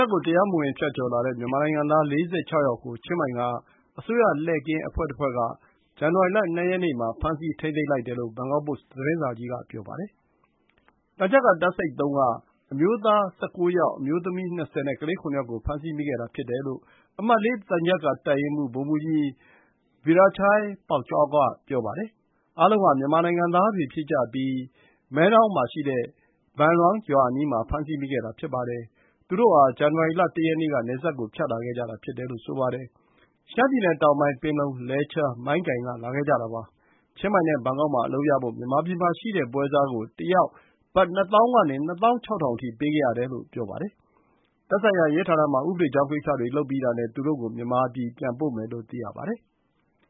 ပ်ကို တရားမဝင် ဖြတ်ကျော်လာတဲ့ မြန်မာနိုင်ငံသား ၄၆ ယောက်ကို ထိုင်းနိုင်ငံ ချင်းမိုင်ခရိုင်အတွင်း လုံခြုံရေးတပ်ဖွဲ့က ဇန်နဝါရီလ ၂ ရက်နေ့မှာ ဖမ်းဆီး ထိန်းသိမ်းလိုက်တယ်လို့ ဘန်ကောက်ပို့စ် သတင်းစာကြီးက ဆိုပါတယ်။ ထိုင်း သံချပ်ကာတပ်စိတ် ၃ က အမျိုးသား ၁၉ ယောက်၊ အမျိုးသမီး အယောက် ၂၀ နဲ့ ကလေး ၇ ယောက်ကို ဖမ်းဆီးမိခဲ့တာ ဖြစ်တယ်လို့ အမှတ် ၄ သံချပ်ကာတပ်ရင်းမှူး ဗိုလ်မှူးကြီး Veerachai Phongkaew က ပြောပါတယ်။ အားလုံးဟာ မြန်မာနိုင်ငံသားတွေ ဖြစ်ကြပြီး Mae Ngon မှာရှိတဲ့ Ban Luang ရွာအနီးမှာ ဖမ်းဆီးမိခဲ့တာ ဖြစ်ပါတယ်။ သူတို့ဟာ ဇန်နဝါရီ ၁ ရက်နေ့က နယ်စပ်ကို ဖြတ်လာခဲ့ကြတာ ဖြစ်တယ်လို့ ဆိုပါတယ်။ ရှမ်းပြည်နယ်တောင်ပိုင်း ပင်လုံ၊ လဲချား၊ မိုင်းကိုင်က လာခဲ့ကြတာပါ။ ချင်းမိုင်နဲ့ ဘန်ကောက်မှာ အလုပ်ရဖို့ မြန်မာပြည်မှာရှိတဲ့ ပွဲစားကို တယောက် ဘတ် ၂၀,၀၀၀ ကနေ ၂၆,၀၀၀ အထိ ပေးခဲ့ရတယ်လို့ ဆိုပါတယ်။ သက်ဆိုင်ရာ ရဲဌာနမှာ ဥပဒေကြောင်းကိစ္စတွေ လုပ်ပြီးတာနဲ့ သူတို့ကို မြန်မာပြည် ပြန်ပို့မယ်လို့ သိရပါတယ်။